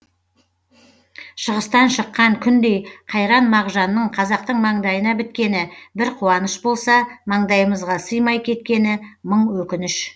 шығыстан шыққан күндей қайран мағжанның қазақтың маңдайына біткені бір қуаныш болса маңдайымызға сыймай кеткені мың өкініш